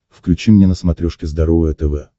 включи мне на смотрешке здоровое тв